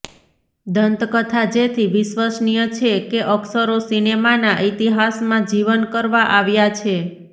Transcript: દંતકથા જેથી વિશ્વસનીય છે કે અક્ષરો સિનેમાના ઇતિહાસમાં જીવન કરવા આવ્યાં છે